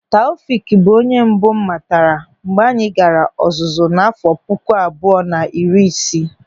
Taofik bụ onye mbụ m matara mgbe anyị gaara ọzụzụ n'àfọ́ puku abụọ na iri isii.